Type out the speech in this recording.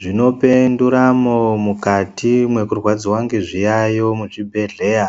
Zvinope nduramo mukati mwekurwadziwa ngezviyayo muzvibhedhleya